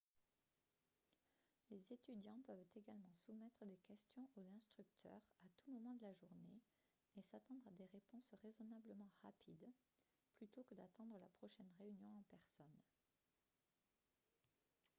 les étudiants peuvent également soumettre des questions aux instructeurs à tout moment de la journée et s'attendre à des réponses raisonnablement rapides plutôt que d'attendre la prochaine réunion en personne